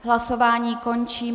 Hlasování končím.